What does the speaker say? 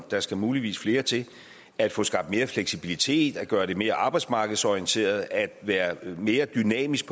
der skal muligvis flere til at få skabt mere fleksibilitet at gøre det mere arbejdsmarkedsorienteret at være mere dynamisk